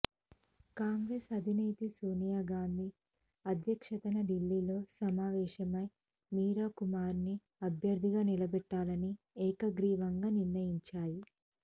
కాంగ్రెస్ అధినేత్రి సోనియాగాంధీ అధ్యక్షతన ఢిల్లీలో సమావేశమై మీరాకుమార్ను అభ్యర్థిగా నిలబెట్టాలని ఏకగ్రీవంగా నిర్ణయించాయి